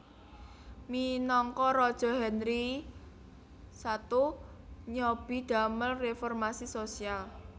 Minangka raja Henry I nyobi damel reformasi sosial